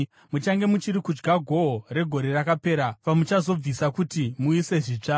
Muchange muchiri kudya gohwo regore rakapera pamuchazobvisa kuti muise zvitsva.